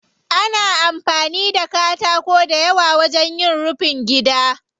Ana amfani da katako dayawa wajen yin rufin gida.